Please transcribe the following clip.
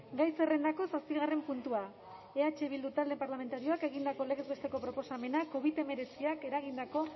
gai zerrendako zazpigarren puntua eh bildu talde parlamentarioak egindako legez besteko proposamena covid hemeretziak eragindako